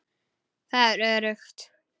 Það er öruggt.